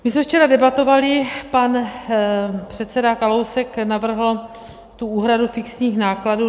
My jsme včera debatovali - pan předseda Kalousek navrhl tu úhradu fixních nákladů.